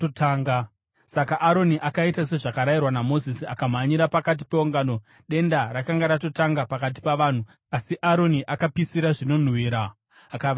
Saka Aroni akaita sezvakarehwa naMozisi, akamhanyira pakati peungano. Denda rakanga ratotanga pakati pavanhu, asi Aroni akapisira zvinonhuhwira akavayananisira.